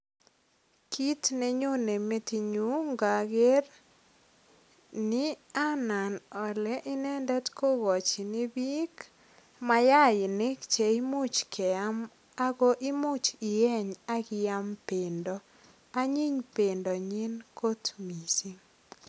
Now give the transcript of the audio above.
Kit ne nyonei ngager ni anam ale inendet kiko chini biik mayainik che imuch keyam ago imuch iyeny ak iyam bendo. Anyiny bendonyin kit mising.